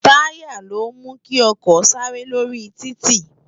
Tàyá ló mú ki òkò sàré lórí tìtí